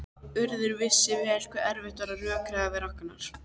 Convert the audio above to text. Urður vissi vel hve erfitt var að rökræða við Ragnar.